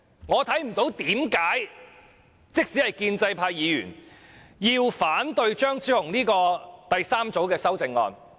我看不到即使是建制派議員有甚麼原因反對張超雄議員的第三組修正案。